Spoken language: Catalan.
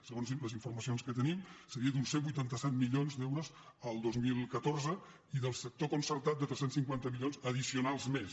segons les informacions que tenim seria d’uns cent i vuitanta set milions d’euros el dos mil catorze i del sector concertat de tres cents i cinquanta milions ad dicionals més